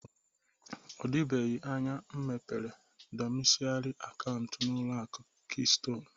O dịbeghi anya m mepere dọmisilairi akauntụ n'ụlọaku kiston